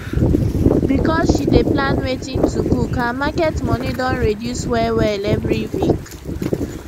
because she dey plan wetin to cook her market money don reduce wellwell every week